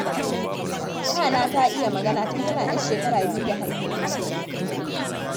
Yana ta iya magana tun tana 'ya shekara biyu da haihuwa.